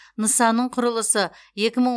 нысанның құрылысы екі мың